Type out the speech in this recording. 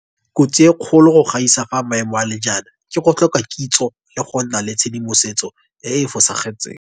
Kotsi e kgolo go gaisa fa maemo a le jaana ke go tlhoka kitso le go nna le tshedimosetso e e fosagetseng.